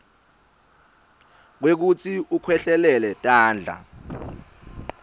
kwekutsi ukhwehlelele tandla